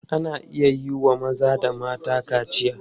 Ana iya wa maza da mata kaciya.